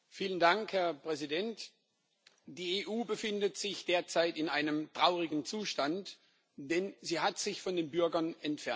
Herr Präsident! Die EU befindet sich derzeit in einem traurigen Zustand, denn sie hat sich von den Bürgern entfernt.